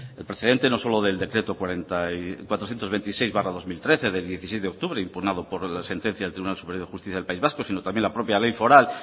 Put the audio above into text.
el precedente no solo del decreto cuatrocientos veintiséis barra dos mil trece de dieciséis de octubre impugnado por la sentencia del tribunal superior de país vasco sino también la propia ley foral